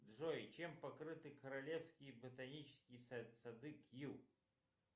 джой чем покрыты королевские ботанические сады кью